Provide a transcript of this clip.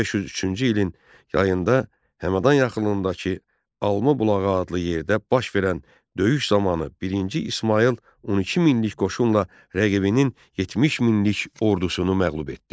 1503-cü ilin yayında Həmədan yaxınlığındakı Alma bulağı adlı yerdə baş verən döyüş zamanı birinci İsmayıl 12000-lik qoşunla rəqibinin 70000-lik ordusunu məğlub etdi.